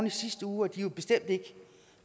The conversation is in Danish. i sidste uge og de er bestemt ikke